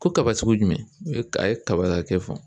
Ko kaba sugu ye jumɛn ye o ye a ye kaba hakɛ fɔ